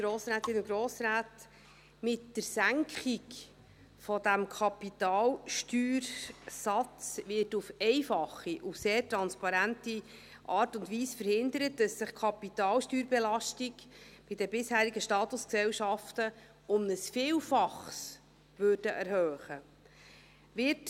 Mit der Senkung dieses Kapitalsteuersatzes wird auf einfache und sehr transparente Art und Weise verhindert, dass sich die Kapitalsteuerbelastung bei den bisherigen Statusgesellschaften um ein Vielfaches erhöhen würde.